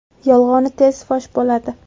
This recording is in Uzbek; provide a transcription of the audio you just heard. Yolg‘oni tezda fosh bo‘ladi.